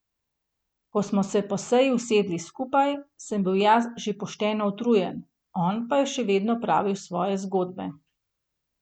Ko smo se po seji usedli skupaj, sem bil jaz že pošteno utrujen, on pa je še vedno pravil svoje zgodbe.